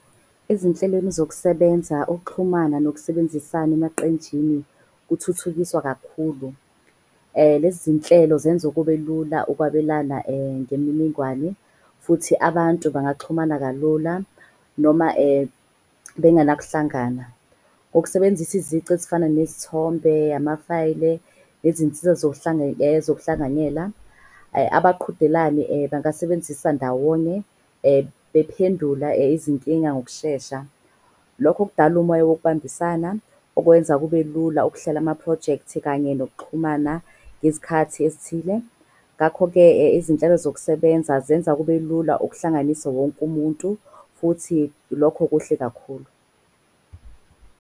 Ezinhlelweni zokusebenza, ukuxhumana nokusebenzisana emaqenjini kuthuthukiswa kakhulu. Lezi zinhlelo zenzu kube lula ukwabelana ngemininingwane. Futhi abantu bangaxhumana kalula noma bengena kuhlangana. Ngokusebenzisa izici ezifana nezithombe, amafayile nezinsiza zohlanganyela. Abaqhudelani bangasebenzisa ndawonye bephendula izinkinga ngokushesha. Lokho okudala umoya wokubambisana okwenza kube lula ukuhlela amaphrojekthi kanye nokuxhumana ngezikhathi ezithile. Ngakho-ke, izinhlelo zokusebenza zenza kube lula ukuhlanganise wonke umuntu futhi lokho kuhle kakhulu.